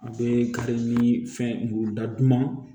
A bɛ kari ni fɛn muguda duman